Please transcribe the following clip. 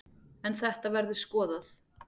En þetta verður skoðað.